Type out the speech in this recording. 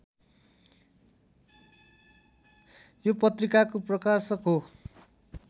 यो पत्रिकाको प्रकाशक हो